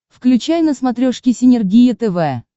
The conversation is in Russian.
включай на смотрешке синергия тв